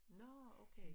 Nå okay